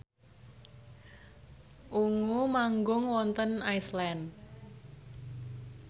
Ungu manggung wonten Iceland